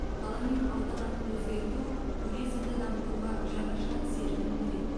қала мен аудан атын өзгерту туризмді дамытуға жаңаша серпін береді